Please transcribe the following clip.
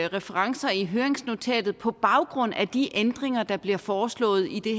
referencer i høringsnotatet på baggrund af de ændringer der bliver foreslået i det